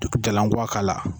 Depi jalankuwa k'a la